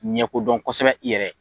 Ɲɛkodɔn kosɛbɛ i yɛrɛ ye.